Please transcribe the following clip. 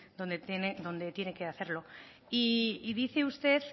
donde tiene que hacerlo y dice usted